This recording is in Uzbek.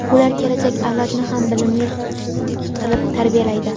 ular kelajak avlodni ham bilimli qilib tarbiyalaydi.